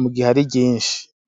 mu gihe ari ryinshi.